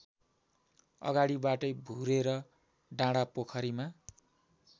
अगाडिबाटै भुरेर डाँडापोखरीमा